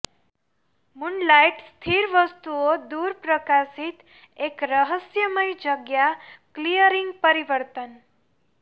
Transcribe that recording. moonlight સ્થિર વસ્તુઓ દૂર પ્રકાશિત એક રહસ્યમય જગ્યા ક્લીયરિંગ પરિવર્તન